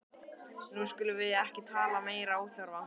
Nú skulum við ekki tala meiri óþarfa!